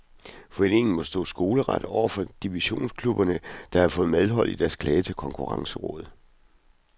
Foreningen må stå skoleret over for divisionsklubberne, der har fået medhold i deres klage til konkurrencerådet.